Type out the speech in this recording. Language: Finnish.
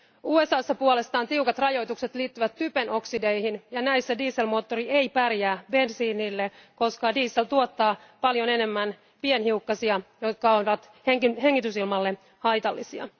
USAssa puolestaan tiukat rajoitukset liittyvät typen oksideihin ja näissä dieselmoottori ei pärjää bensiinille, koska diesel tuottaa paljon enemmän pienhiukkasia, jotka ovat hengitysilmalle haitallisia.